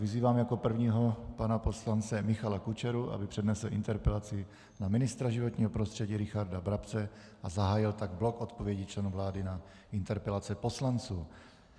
vyzývám jako prvního pana poslance Michala Kučeru, aby přednesl interpelaci na ministra životního prostředí Richarda Brabce a zahájil tak blok odpovědí členů vlády na interpelace poslanců.